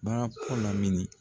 Barapɔ la mi ni